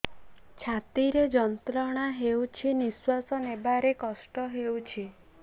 ଛାତି ରେ ଯନ୍ତ୍ରଣା ହେଉଛି ନିଶ୍ଵାସ ନେବାର କଷ୍ଟ ହେଉଛି